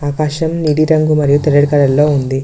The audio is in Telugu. ఆకాశం నీలిరంగు మరియు తెల్లటి కలర్లో ఉంది.